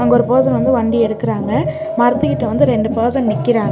இங்கொரு person வந்து வண்டி எடுக்றாங்க மரத்து கிட்ட வந்து ரெண்டு பர்சன் நிக்கிறாங்க--